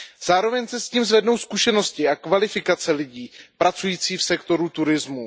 Zároveň se tím zvednou zkušenosti a kvalifikace lidí pracujících v sektoru turismu.